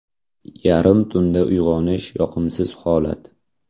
Yarim tunda uyg‘onish yoqimsiz holat.